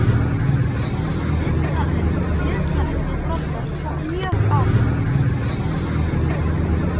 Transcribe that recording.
Viðtalið við Brodda tók mjög á mig.